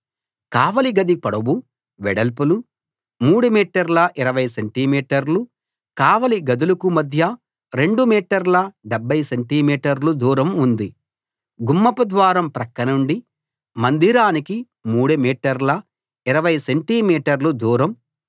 కావలి గది పొడవు వెడల్పులు 3 మీటర్ల 20 సెంటి మీటర్లు కావలి గదులకు మధ్య 2 మీటర్ల 70 సెంటి మీటర్లు దూరం ఉంది గుమ్మపు ద్వారం ప్రక్కనుండి మందిరానికి 3 మీటర్ల 20 సెంటి మీటర్లు దూరం